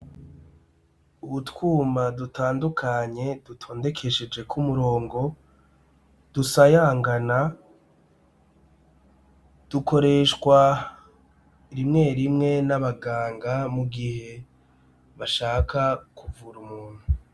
Utwuma dutandukanye dutondekesheje k'umurongo dusayangana dukoreshwa rimwe rimwe n'abaganga mugihe bashaka kuvura umuntu.